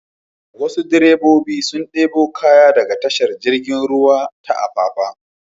Wasu direbobi sun ɗebo kaya daga tashar jirgin ruwa ta Apapa.